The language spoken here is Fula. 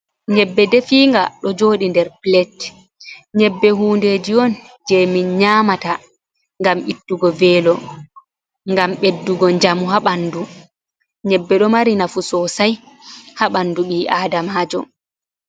Nyebbe defiinga, ɗo jooɗi nder plet, nyebbe hundeji on je min nyaamata ngam ittugo velo, ngam ɓeddugo njamu ha ɓandu, nyebbe ɗo mari nafu soosai ha ɓandu ɓii-Aadamaajo.